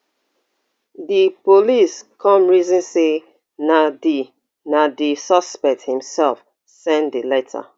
di police come reason say na di na di suspect imself send di letter